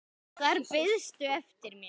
Þar beiðstu eftir mér.